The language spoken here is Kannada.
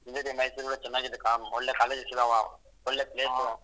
ಇಲ್ಲಾ ರಿ ಮೈಸೂರಲ್ಲಿ ಚೆನ್ನಾಗಿದೆ ಒಳ್ಳೆ college ಇದಾವೆ ಒಳ್ಳೆ place .